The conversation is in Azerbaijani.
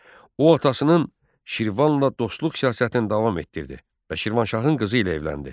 O atasının Şirvanla dostluq siyasətini davam etdirdi və Şirvanşahın qızı ilə evləndi.